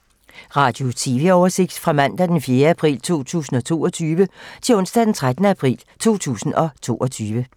Radio/TV oversigt fra mandag d. 4. april 2022 til onsdag d. 13. april 2022